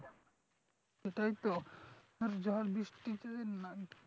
সেটাইতো আর ঝড় বৃষ্টি যদি না